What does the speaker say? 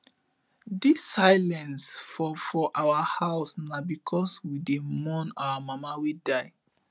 dis silence for for our house na because we dey mourn our mama wey die